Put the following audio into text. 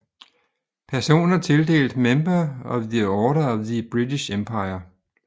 Personer tildelt Member of the Order of the British Empire